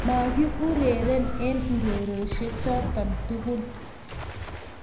Maki ureren eng urerioshek choton tugul